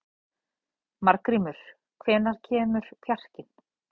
Margrímur, hvenær kemur fjarkinn?